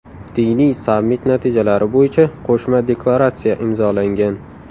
Diniy sammit natijalari bo‘yicha qo‘shma deklaratsiya imzolangan.